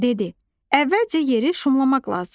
Dedi: Əvvəlcə yeri şumlamaq lazımdır.